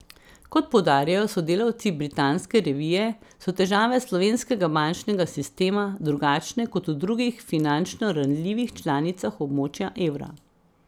Kot poudarjajo sodelavci britanske revije, so težave slovenskega bančnega sistema drugačne kot v drugih finančno ranljivih članicah območja evra.